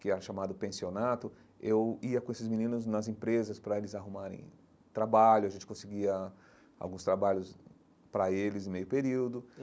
que era chamado Pensionato, eu ia com esses meninos nas empresas para eles arrumarem trabalho, a gente conseguia alguns trabalhos para eles em meio período.